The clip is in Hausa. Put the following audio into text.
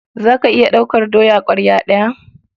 Za ka iya ɗaukar doya ƙwarya ɗaya?